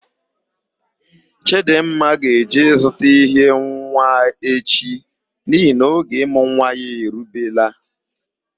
Chidịmma ga-eje ịzụta ihe nwa echi nihi na oge ịmụ nwa ya erubela.